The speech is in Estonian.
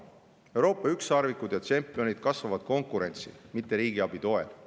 Euroopa ükssarvikud ja tšempionid kasvavad konkurentsi, mitte riigiabi toel.